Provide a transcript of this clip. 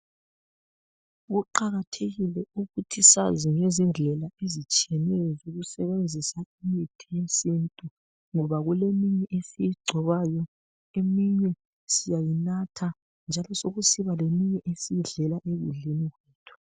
Kuqakathekile ukuthi sazi ngezindlela ezitshiyeyenyo zokusebenzisa imithi yesintu ngoba kuleminye esiyigcobayo, eminye siyayinatha njalo kubesekusiba esiyidlela ekudleni kwethu